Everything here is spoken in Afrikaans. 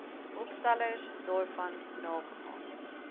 opstellers daarvan nagegaan